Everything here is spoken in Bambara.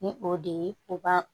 Ni o de ye o ba